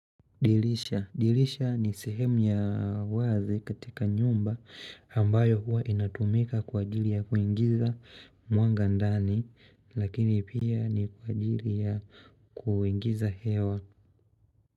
Dirisha. Dirisha ni sehemu ya wazi katika nyumba ambayo huwa inatumika kwa ajili ya kuingiza mwanga ndani lakini pia ni kwa ajili ya kuingiza hewa.